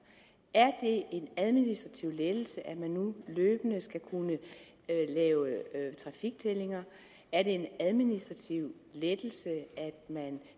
er det en administrativ lettelse at man nu løbende skal kunne lave trafiktællinger er det en administrativ lettelse at man